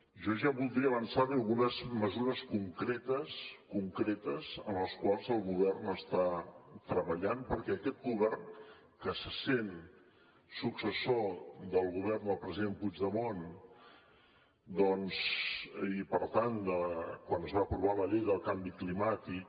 jo ja voldria avançar li algunes mesures concretes en les quals el govern està treballant perquè aquest govern que se sent successor del govern del president puigdemont doncs i per tant de quan es va aprovar la llei del canvi climàtic